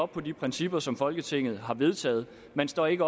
på de principper som folketinget har vedtaget man står ikke